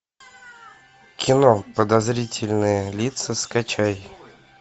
кино подозрительные лица скачай